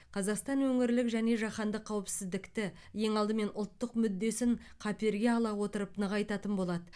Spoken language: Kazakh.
қазақстан өңірлік және жаһандық қауіпсіздікті ең алдымен ұлттық мүддесін қаперге ала отырып нығайтатын болады